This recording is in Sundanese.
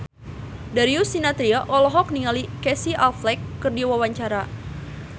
Darius Sinathrya olohok ningali Casey Affleck keur diwawancara